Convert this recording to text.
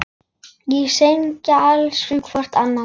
Og segjast elska hvort annað.